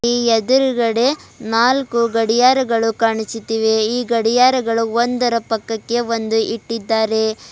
ಈ ಎದುರ್ಗಡೆ ನಾಲ್ಕು ಗಡಿಯಾರಗಳು ಕಾಣಿಸುತ್ತಿವೆ ಈ ಗಾಡಿಯಾರಗಳು ಒಂದರ ಪಕ್ಕಕ್ಕೆ ಒಂದು ಇಟ್ಟಿದ್ದಾರೆ.